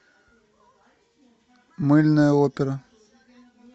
мыльная опера